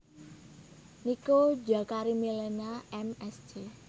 Nico Jakarimilena M Sc